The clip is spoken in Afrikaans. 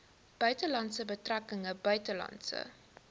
buitelandse betrekkinge buitelandse